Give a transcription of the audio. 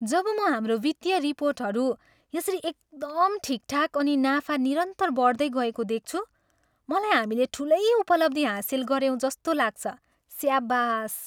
जब म हाम्रो वित्तीय रिपोर्टहरू यसरी एकदम ठिकठाक अनि नाफा निरन्तर बढ्दै गएको देख्छु, मलाई हामीले ठुलै उपलब्धी हासिल गऱ्यौँ जस्तो लाग्छ। स्याबास!